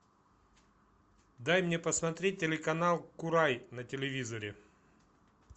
дай мне посмотреть телеканал курай на телевизоре